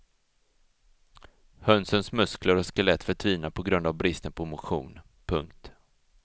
Hönsens muskler och skelett förtvinar på grund av bristen på motion. punkt